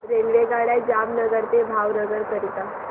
रेल्वेगाड्या जामनगर ते भावनगर करीता